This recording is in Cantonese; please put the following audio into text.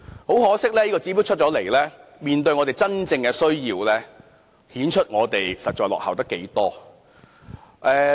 很可惜，這個指標出台後，面對大家的真正需要，顯示出我們真的落後了太多。